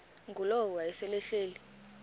ngulowo wayesel ehleli